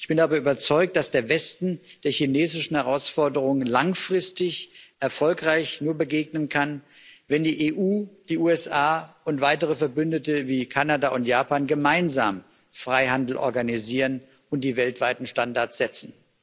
Ich bin aber überzeugt, dass der Westen der chinesischen Herausforderung langfristig nur erfolgreich begegnen kann, wenn die EU, die USA und weitere Verbündete wie Kanada und Japan gemeinsam Freihandel organisieren und die weltweiten Standards setzen.